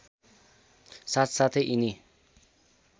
साथ साथै यिनी